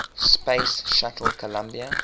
space shuttle columbia